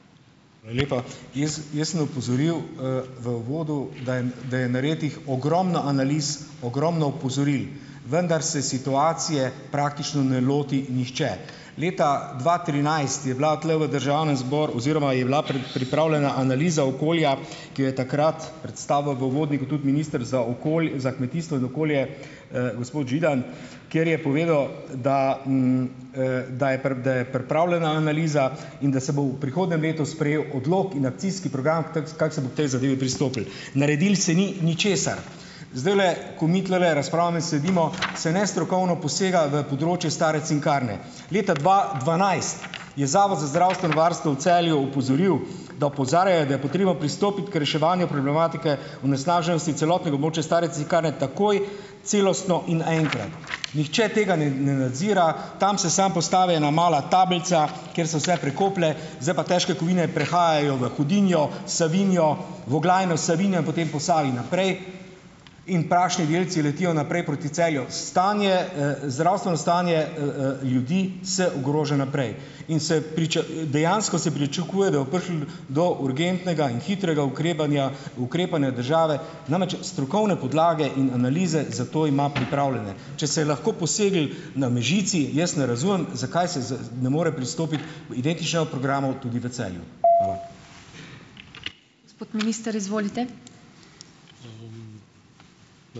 Jaz, jaz sem opozoril, v uvodu, da je da je narejenih ogromno analiz, ogromno opozoril, vendar se situacije praktično ne loti nihče. Leta dva trinajst je bila tule v državnem oziroma je bila pripravljena analiza okolja, ki jo je takrat predstavil v uvodniku tudi minister za za kmetijstvo in okolje, gospod Židan, kjer je povedal, da da je da je pripravljena analiza in da se bo v prihodnjem letu sprejel odlok in akcijski program, t kako se bo k tej zadevi pristopil. Naredilo se ni ničesar. Zdajle, ko mi tulele razpravljamo in sedimo, se nestrokovno posega v področje stare Cinkarne. Leta dva dvanajst je Zavod za zdravstveno varstvo v Celju opozoril, da opozarjajo, da je potrebno pristopiti k reševanju problematike onesnaženosti celotnega območja stare Cinkarne takoj celostno in naenkrat. Nihče tega ne ne nadzira, tam se samo postavi ena mala tablca, kjer se vse prekoplje, zdaj pa težke kovine prehajajo v Hudinjo, Savinjo, v Oglajno, v Savinjo in potem po Savi naprej in prašni delci letijo naprej proti Celju. Stanje, zdravstveno stanje, ljudi se ogroža naprej in se dejansko se pričakuje, da bo prišlo do urgentnega in hitrega ukrepanja ukrepanja države. Namreč strokovne podlage in analize zato ima pripravljene. Če se je lahko poseglo na Mežici, jaz ne razumem zakaj se ne more pristopiti identičnemu programu tudi v Celju.